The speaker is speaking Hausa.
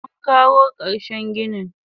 Munkawo karshen ginin.